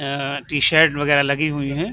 एएं T-shirt वगेरा लगी हुई हैं।